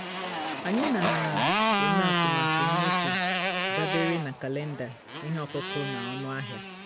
anyị na-eme atụmatụ mmefu dabere na kalenda ihe ọkụkụ na ọnụ ahịa